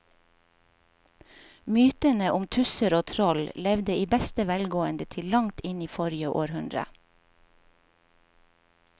Mytene om tusser og troll levde i beste velgående til langt inn i forrige århundre.